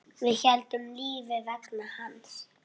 Við héldum lífi vegna hans.